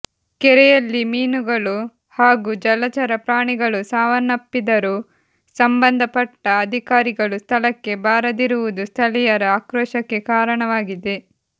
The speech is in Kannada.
ಕೆರೆಯಲ್ಲಿ ಮೀನುಗಳು ಹಾಗೂ ಜಲಚರ ಪ್ರಾಣಿಗಳು ಸಾವನ್ನಪ್ಪಿದರೂ ಸಂಬಂಧಪಟ್ಟ ಅಧಿಕಾರಿಗಳು ಸ್ಥಳಕ್ಕೆ ಬಾರದಿರುವುದು ಸ್ಥಳೀಯರ ಆಕ್ರೋಶಕ್ಕೆ ಕಾರಣವಾಗಿದೆ